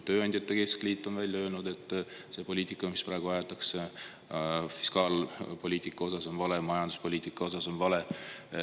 Tööandjate keskliit on öelnud, et see fiskaalpoliitika, mida praegu aetakse, on vale, see majanduspoliitika on vale.